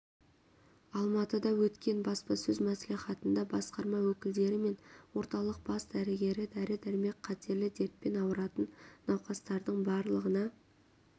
алматыда өткен баспасөз мәслихатында басқарма өкілдері мен орталық бас дәрігері дәрі-дәрмек қатерлі дертпен ауыратын науқастардың барлығына